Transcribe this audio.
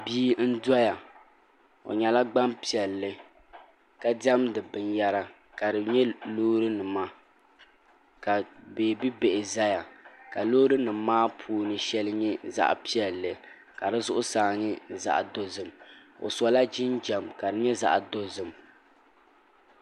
bia n doya o nyɛla gbanpiɛlli ka diɛmdi binyɛra ka di nyɛ loori nima ka beebi bihi ʒɛya ka loori nim maa puuni shɛli nyɛ zaɣ piɛlli ka di zuɣusaa nyɛ zaɣ dozim o sola jinjɛm ka di nyɛ zaɣ dozim